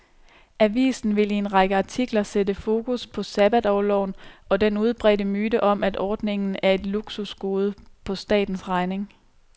Avisen vil i en række artikler sætte fokus på sabbatorloven, og den udbredte myte om, at ordningen er et luksusgode på statens regning.